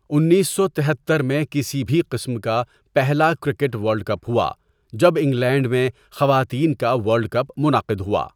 انیس سو تہتر میں کسی بھی قسم کا پہلا کرکٹ ورلڈ کپ ہوا جب انگلینڈ میں خواتین کا ورلڈ کپ منعقد ہوا۔